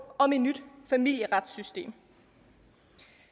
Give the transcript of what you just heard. om et nyt familieretsystem